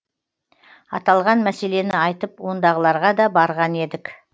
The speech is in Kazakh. аталған мәселені айтып ондағыларға да барған едік